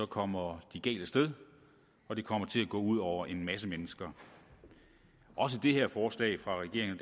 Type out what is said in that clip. kommer de galt af sted og det kommer til at gå ud over en masse mennesker også det her forslag fra regeringen